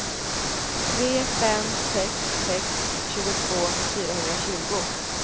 tre fem sex sex tjugotvå fyrahundratjugo